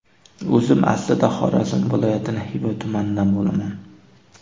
O‘zim aslida, Xorazm viloyatining Xiva tumanidan bo‘laman.